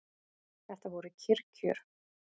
Þetta voru kyrr kjör.